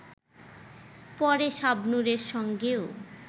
পরে শাবনুরের সঙ্গেও